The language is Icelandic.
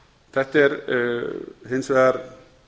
þetta er hins vegar